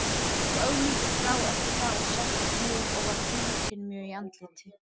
Gekk Ögmundur frá eftir það og settist niður og var þrútinn mjög í andliti.